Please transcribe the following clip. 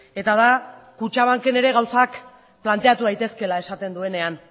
eta da kutxabanken ere gauzak planteatu daitezkeela esaten duenean